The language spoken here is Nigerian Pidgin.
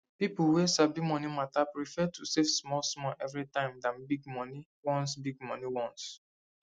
people wey sabi money matter prefer to save smallsmall every time than big money once big money once